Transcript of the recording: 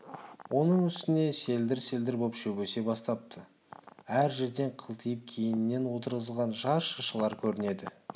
оның үстіне селдір-селдір боп шөп өсе бастапты әр жерден қылтиып кейіннен отырғызылған жас шыршалар көрінеді